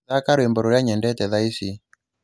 thaakira rwĩmbo rũria nyendete thaa ici